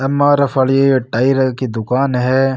एम R F वाली tyre की दुकान है।